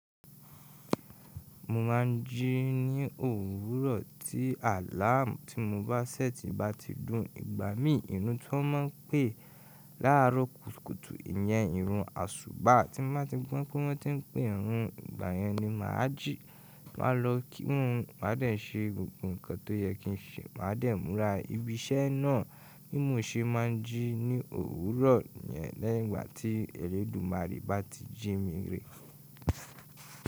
Mo máà ń jí ní òwúrọ̀ tí àláàmù tí mo bá ṣẹ́ti bá ti dùn ìgbà mí. Ìrun tó máa ń pẹ́ láàrọ̀ kùtùkùtù ìyẹn ìrun àsùbá. Tí mo bá ti gbọ́ pé wọ́n ti ń pé irun ìgbà yẹn ni màhájì, màá lọ kí wọ́n má dẹ̀ ṣe gbogbo nǹkan tó yẹ kí n ṣe, má dẹ̀ múra. Ibi iṣẹ́ náà bí mo ṣe máa ń jí ní òwúrọ̀ yẹn lẹ́yìn ìgbà tí Elédùmarè bá ti jí mi rèé.